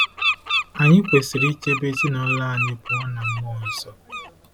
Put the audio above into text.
Anyị kwesịrị ichebe ezinụlọ anyị pụọ ná mmụọ nsọ.